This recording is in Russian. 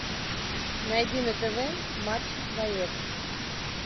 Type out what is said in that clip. найди на тв матч боец